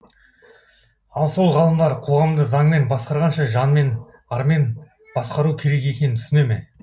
ал сол ғалымдар қоғамды заңмен басқарғанша жанмен армен басқару керек екенін түсіне ме